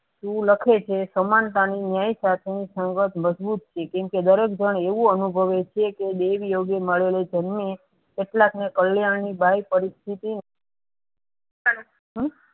લખે છે સમન્તા ની ન્યાય સાથેની સંગત મજબૂત છે કેમ કે દરેક જણ એવું અનુભવે છે કે દેવ યોગી મરેલો જન્મી કેટલાક ના કલ્યાણ ની બે પરિસ્થિતિ